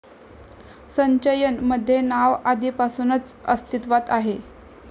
संचयन मध्ये नाव आधिपासूनच अस्तीत्वात आहे